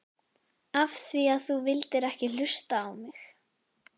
Af því að þú vildir ekki hlusta á mig!